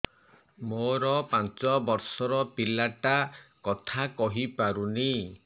ମୋର ପାଞ୍ଚ ଵର୍ଷ ର ପିଲା ଟା କଥା କହି ପାରୁନି